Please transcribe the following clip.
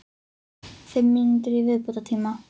Fimm mínútur í viðbótartíma?